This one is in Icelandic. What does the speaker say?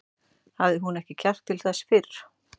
Hafði hún ekki kjark til þess fyrr?